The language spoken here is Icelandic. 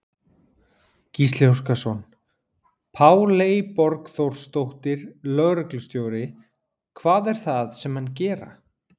Gísli Óskarsson: Páley Borgþórsdóttir, lögreglustjóri, hvað er það sem menn gera?